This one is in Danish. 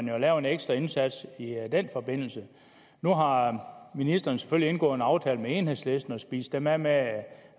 jo lave en ekstra indsats i den forbindelse nu har ministeren selvfølgelig indgået en aftale med enhedslisten og spist dem af med